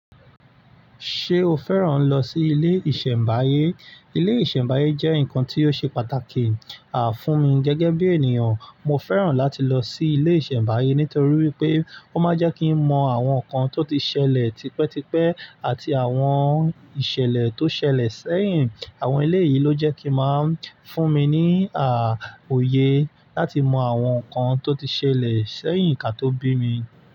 Ṣé o fẹ́ràn lọ sí ilé ìṣẹ̀mbáyé? Ilé ìṣẹ̀mbáyé jẹ́ nǹkan tí ó ṣe pàtàkì, à, fún mi gẹ́gẹ́ bí ènìyàn. Mo fẹ́ràn láti lọ sí ilé ìṣẹ̀mbáyé nítorí pé ó máa ń jẹ́ kí n mọ àwọn nǹkan tó ti ṣẹlẹ̀ tipẹ́tipẹ́ àti àwọn ìṣẹ̀lẹ̀ tó ṣẹlẹ̀ sẹ́yìn. Àwọn ilé yìí ló jẹ́ kí máa ń fún mi ní, òye láti mọ àwọn nǹkan tó ti ṣẹlẹ̀ sẹ́yìn kí a tó bí mi.